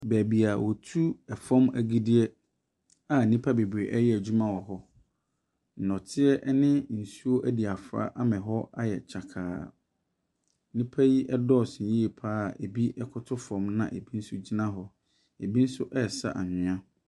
Beebi a wɔtu fam agudeɛ a nnipa bebree ɛreyɛ adwuma wɔ hɔ. Nnɔteɛ ne nsuo adi afora ma hɔ ayɛ kyakaa. Nnipa yi dɔɔ so yie pa ara a bi koto fam na bi nso gyina hɔ. Bi nso ɛresa anwea.